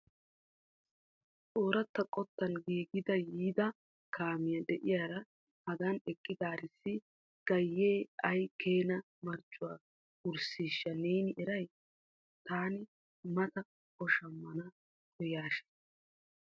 Oorata qottan giigada yiidi kaamiya de'iyaara hagan eqqidaarissi gayee ay keena marccuwaa wirssishsha neeni eray? Taani mata o shammana koyyasishin.